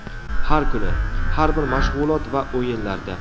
Har kuni, har bir mashg‘ulot va o‘yinlarda.